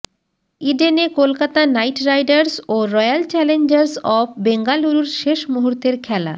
ইডেনে Kolkata Knight Riders ও Royal Challengers of বেঙ্গালুরুর শেষ মুহূর্তের খেলা